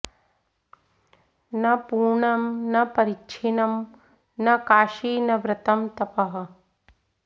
न पूर्णं न परिच्छिन्नं न काशी न व्रतं तपः